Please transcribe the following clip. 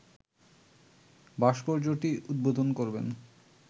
ভাস্কর্যটি উদ্বোধন করবেন